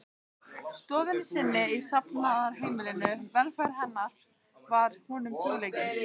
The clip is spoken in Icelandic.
stofunni sinni í safnaðarheimilinu, velferð hennar var honum hugleikin.